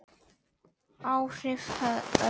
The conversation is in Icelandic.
Áhrif örvera